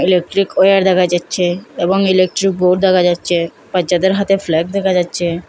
Electric wire দেখা যাচ্ছে এবং ইলেকট্রিক বোর্ড দেখা যাচ্ছে বাচ্চাদের হাতে ফ্ল্যাগ দেখা যাচ্ছে।